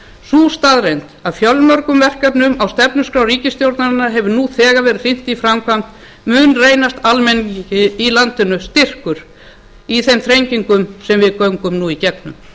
sú staðreynd að fjölmörgum verkefnum á stefnuskrá ríkisstjórnarinnar hefur nú þegar verið hrint í framkvæmd mun reynast almenningi í landinu styrkur í þeim þrengingum sem við göngum nú í gegnum